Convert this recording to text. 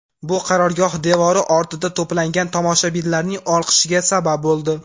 Bu qarorgoh devori ortida to‘plangan tomoshabinlarning olqishiga sabab bo‘ldi.